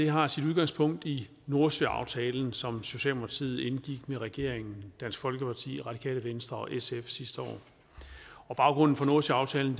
har sit udgangspunkt i nordsøaftalen som socialdemokratiet indgik med regeringen dansk folkeparti radikale venstre og sf sidste år baggrunden for nordsøaftalen